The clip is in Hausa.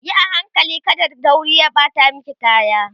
Yi a hankali kada daurin ya ɓata maki kaya